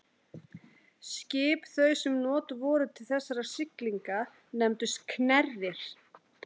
Skip þau sem notuð voru til þessara siglinga nefndust knerrir.